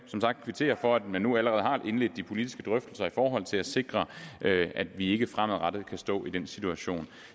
kvittere for at man nu allerede har indledt de politiske drøftelser i forhold til at sikre at vi ikke fremadrettet kan stå i den situation